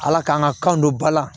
Ala k'an ka kan don ba la